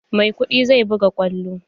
Maikudi zai buga kwallo.